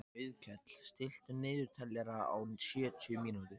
Auðkell, stilltu niðurteljara á sjötíu mínútur.